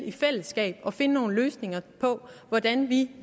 i fællesskab fandt nogle løsninger på hvordan vi